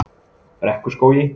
Brekkuskógi